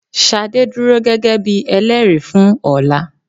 Ṣadé dúró gẹ́gẹ́ bí Ẹlẹ́rìí fún ọ̀la.